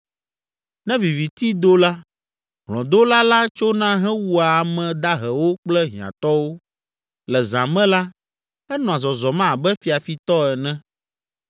Ne viviti do la, hlɔ̃dola la tsona hewua ame dahewo kple hiãtɔwo, le zã me la, enɔa zɔzɔm abe fiafitɔ ene